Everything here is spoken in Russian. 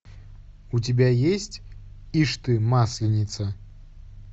у тебя есть ишь ты масленица